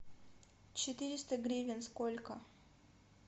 четыреста гривен сколько